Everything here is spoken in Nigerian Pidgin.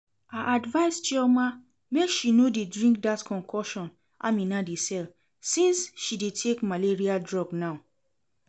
I advise Chioma make she no dey drink dat concoction Amina dey sell since she dey take malaria drug now